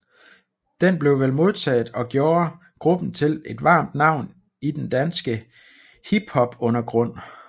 Den blev vel modtaget og gjorde gruppen til et varmt navn i den danske hiphopundergrund